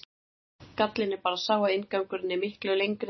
Gallinn er bara sá að inngangurinn er miklu lengri en sagan.